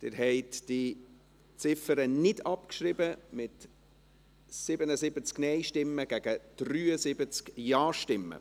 Sie haben diese Ziffer nicht abgeschrieben, mit 77 Nein- gegen 73 Ja-Stimmen.